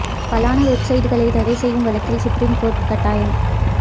பலான வெப்சைட்டுகளை தடை செய்யும் வழக்கில் சுப்ரீம் கோர்ட் காட்டம்